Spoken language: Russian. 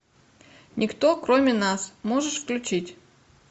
никто кроме нас можешь включить